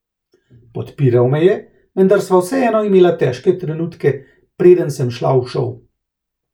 Podpiral me je, vendar sva vseeno imela težke trenutke preden sem šla v šov.